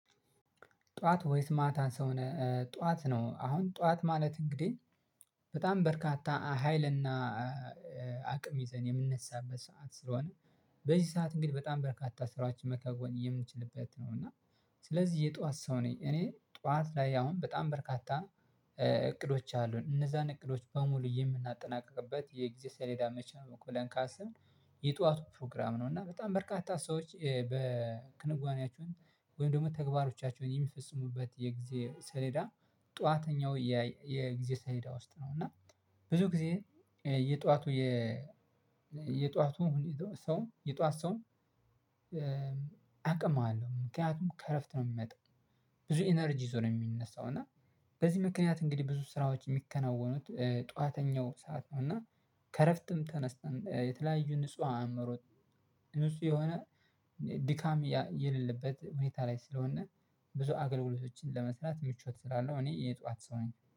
ጠዋት ወይስ ማታ ሰው ጠዋት ነው። አሁን ጠዋት ማለት እንግዲህ በጣም በርካታ ሀይልና አቅም ይዘን የምንነሳበት ሰዓት ስለሆነ በዚህ ሰዓት እንግዲህ በጣም በርካታ ስራዎችን መከዎን የምንችልበት ነው። እና ስለዚህ የጧት ሰው ነኝ። እኔ ጧት ላይ አሁን በጣም በርካታ እቅዶች አሉን እነዛን እቅዶች በሙሉ የምናጠናቅቅበት የጊዜ ሰሌዳ መቼ ነው? ብለን ካሰብን የጠዋቱ ፕሮግራም ነው። እና በጣም በርካታ ሰዎች በክንዋኔያቸውን ወይም ደግሞ ተግባሮቻቸውን የሚፈጽሙበት የጊዜ ሰሌዳ ጠዋተኛው የጊዜ ሰሌዳ ውስጥ ነው። እና ብዙ ጊዜ የጧቱ የ የጧቱ ሰውም የጧት ሰውም አቅም አለው ምክንያቱም ከእረፍት ነው የሚመጣው። ብዙ ኢነርጂ ዞር የሚነሳው እና በዚህ ምክንያት እንግዲህ ብዙ ስራዎች የሚከናወኑት ጠዋተኛው ሰዓት ነው። እና ከእረፍትም ተነስተን የተለያዩ ንጹህ አእምሮት ንጹህ የሆነ ድካም የሌለበት ሁኔታ ላይ ስለሆነ ብዙ አገልግሎቶችን ለመስራት ምቾት ስላለው እኔ የጧት ሰው ነኝ